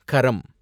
கரம்